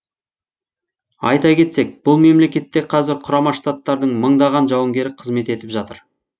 айта кетсек бұл мемлекетте қазір құрама штаттардың мыңдаған жауынгері қызмет етіп жатыр